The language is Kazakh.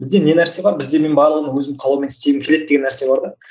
бізде не нәрсе бар бізде мен барлығын өзімнің қалауыммен істегім келеді деген нәрсе бар да